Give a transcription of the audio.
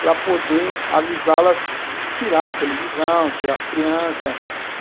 para poder avisá-las de tirar a televisão, tirar as crianças.